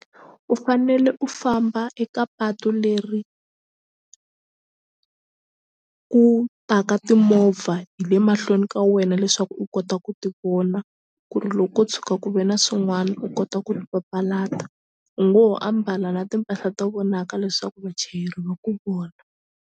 U fanele u famba eka patu leri ku taka timovha hi le mahlweni ka wena leswaku u kota ku ti vona ku ri loko tshuka ku ve na swin'wana u kota ku ri papalata u ngo ho ambala na timpahla to vonaka leswaku vachayeri va ku vona.